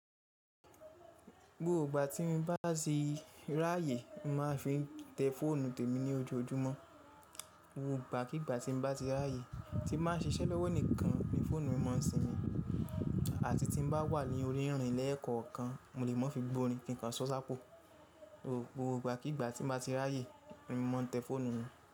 Gbogbo ìgbà tí mo bá ti ráyè, mo máa fi n tẹ fóònù tèmi ní ojoojúmọ́. Gbogbo ìgbà kigbà tí mo bá ti ráyè tí mo bá n ṣíṣẹ́ lọ́wọ́ nìkan ni fóònù mi ma n sìnmi. Àti tí n bá wà ní orí ìrìn ni ẹ̀ẹ̀kọ̀kan mó lè mo fi gbórin kí n kan sọ sápo Gbogbo ìgbà kigbà tí mo bá ti ráyè, ni mo n tẹ fóònù mi.